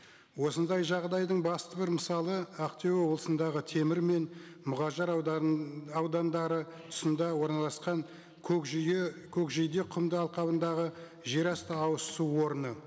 осындай жағдайдың басты бір мысалы ақтөбе облысындағы темір мен мұғажар аудандары тұсында орналасқан көкжиде құмды алқабындағы жерасты ауызсу орны